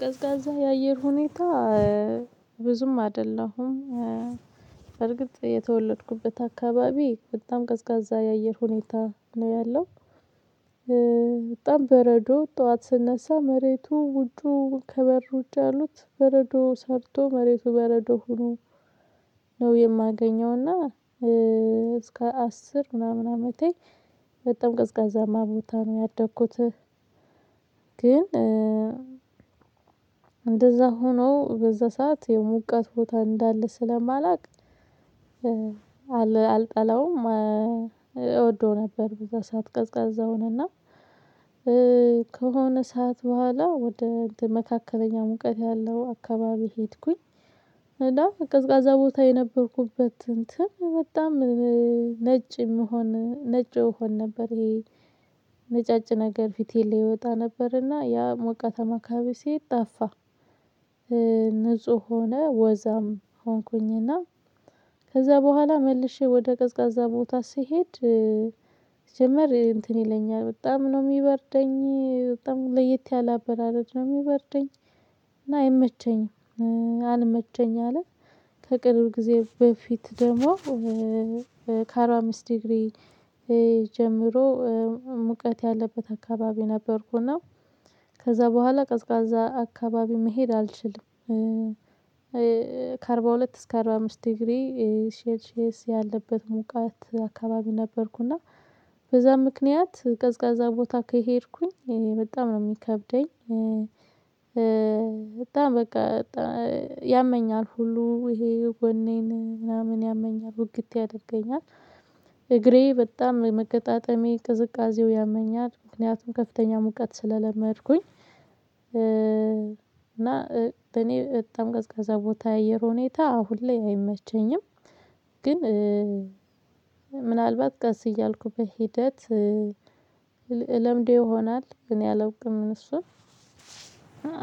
ቀዝቃዛ የአየር ሁኔታ ብዙም አይደለሁም። በርግጥ የተወለድኩበት አካባቢ በጣም ቀዝቃዛ የአየር ሁኔታ ነው ያለው። በጣም በረዶ ጠዋት ስነሳ መሬቱ ውጩ ከበር ውጭ ያሉት በረዶ ሰርቶ መሬቱ በረዶ ሆኖ ነው የማገኘው እና እስከ አስር ምናምን አመቴ በጣም ቀዝቃዛማ ቦታ ነው ያደኩት። ግን እንደዛ ሆኖ በዛ ሰዓት የሙቀት ቦታ እንዳለ ስለማላውቅ። አልጠላውም እወደው ነበር። በዛ ሰዓት ቀዝቃዛውን እና ከሆነ ሰዓት በኋላ ወደ እንትን መካከለኛ ሙቀት ያለው አካባቢ ሄድኩኝ። እና ቀዝቃዛ ቦታ የነበርኩበት እንትን በጣም ነጭ የምሆን ነጮ እሆን ነበር። ይሄ ነጫጭ ነገር ፊቴን ላይ ይወጣ ነበርና ያ ሞቃታማ አካባቢ ስሄድ ጠፋ። ንጹህ ሆነ ወዛም ሆንኩኝና ከዛ በኋላ መልሼ ወደ ቀዝቃዛ ቦታ ስሄድ። ሲጀምር እንትን ይለኛል በጣም ነው የሚበርደኝ በጣም ለየት ያለ አበራረድ ነው የሚበርደኝ። እና አይመቸኝም አንመቸኝ አለ። ከቅርብ ጊዜ በፊት ደግሞ። ከአርባ አምስት ዲግሪ ጀምሮ ሙቀት ያለበት አካባቢ ነበርኩና ከዛ በኋላ ቀዝቃዛ አካባቢ መሄድ አልችልም። ከአርባ ሁለት እስከ አርባ አምስት ዲግሪ ሴልሼስ ያለበት ሙቀት አካባቢ ነበርኩና በዛ ምክንያት ቀዝቃዛ ቦታ ከሄድኩኝ በጣም ነው የሚከብደኝ። በጣም በቃ ያመኛል ሁሉ ይሄ ጎኔን ምናምን ያመኛል ውግት ያደርገኛል። እግሬ በጣም መገጣጠሜያዬ ቅዝቃዜው ያመኛል ምክንያቱም ከፍተኛ ሙቀት ስለለመድኩኝ። እና በኔ በጣም ቀዝቃዛ ቦታ የአየር ሁኔታ አሁን ላይ አይመቸኝም። ግን ምናልባት ቀስ እያልኩ በሂደት እለምደው ይሆናል እኔ አላውቅም እሱን።